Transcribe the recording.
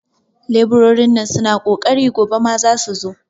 leburorin nan suna ƙoƙari, gobe ma su zasu zo.